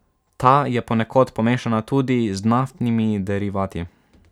Ta je ponekod pomešana tudi z naftnimi derivati.